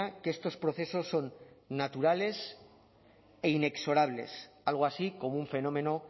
que estos procesos son naturales e inexorables algo así como un fenómeno